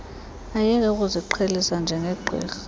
ayeke ukuziqhelisa njengegqirha